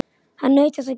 Hann naut þess að gefa.